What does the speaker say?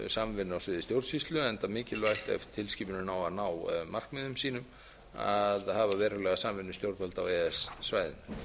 samvinnu á sviði stjórnsýslu enda mikilvægt ef tilskipunin á að ná markmiðum sínum að hafa verulega samvinnu stjórnvalda á e e s svæðinu